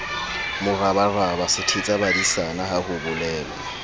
morabaraba sethetsabadisana ha ho bolelwa